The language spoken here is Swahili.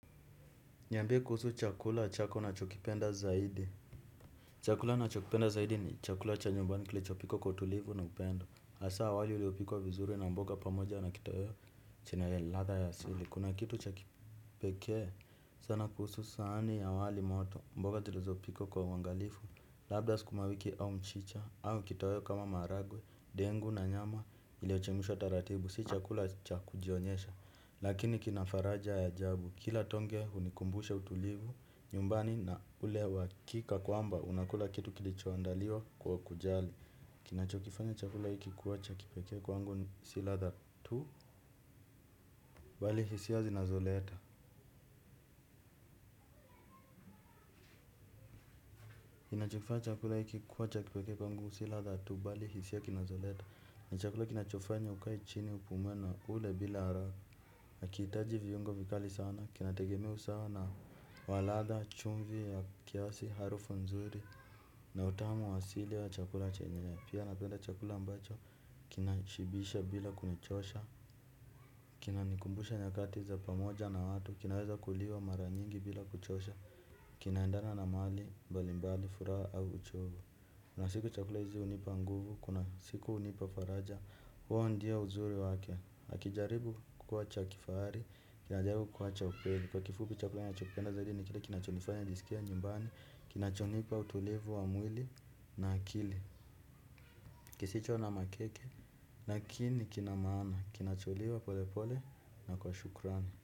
Niambie kuhusu chakula chako una chokipenda zaidi. Chakula nina chokipenda zaidi ni chakula cha nyumbani kilichopikwa kwa tulivu na upendo. Hasa wali uliopikwa vizuri na mboga pamoja na kitoweo chenye ladha ya asili. Kuna kitu chakipekee sana kuhusu sahani ya wali moto mboga tulizo pika kwa uangalifu. Labda sukumawiki au mchicha au kitoweo kama maharagwe, dengu na nyama iliyochemshwa taratibu. Si chakula cha kujionyesha. Lakini kinafaraja ya ajabu. Kila tonge hunikumbusha utulivu nyumbani na ule uhakika kwa mba. Unakula kitu kilichoandaliwa kwa kujali. Kinachokifanya chakula hiki kuwacha kipekee kwangu. Si ladha tu bali hisia zinazoleta inachokifanya chakula hiki kuwacha kipekee kwangu. Si ladha tu bali hisia kinazoleta ni chakula kinachofanya ukaechini upumuena ule bila haraka. Hakihitaji viungo vikali sana. Kinategemea usawa nawaladha chumvi ya kiasi harufu nzuri na utamu wa sili wa chakula chenyewe. Pia napenda chakula ambacho kinashibisha bila kunichosha. Kina nikumbusha nyakati za pamoja na watu, kinaweza kuliwa maranyingi bila kuchosha. Kinaendana na mahali mbali mbali furaha au uchovu. Kuna siku chakula hizi hunipa nguvu, kuna siku hunipa faraja, huo ndiyo uzuri wake. Hakijaribu kukua cha kifahari, kinajaribu kukua cha ukweli. Kwa kifupi chakula na chopenda zaidi ni kile kinachonifanya nijisikie nyumbani. Kinachonipa utulivu wa mwili na akili. Kisicho na makeke, lakini kinamaana. Kinacholiwa pole pole na kwa shukrani.